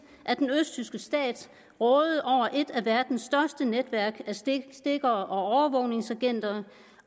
at den østtyske stat rådede over et af verdens største netværk af stikkere og overvågningsagenter